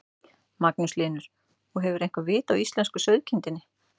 Magnús Hlynur: Og hefurðu eitthvað vit á íslensku sauðkindinni?